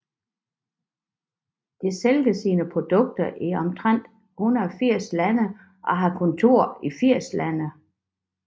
Det sælger sine produkter i omtrent 180 lande og har kontor i 80 lande